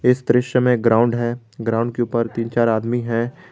इस दृश्य में ग्राउंड है ग्राउंड के ऊपर तीन चार आदमी है।